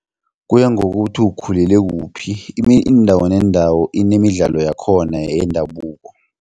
Kuya ngokuthi ukhulele kuphi indawo nendawo inemidlalo yakhona yendabuko.